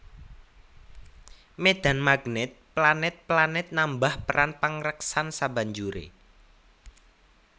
Médhan magnèt planèt planèt nambah peran pangreksan sabanjuré